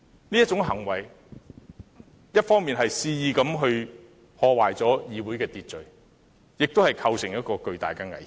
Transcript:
這種行為一方面肆意破壞社會秩序，另一方面亦構成巨大危險。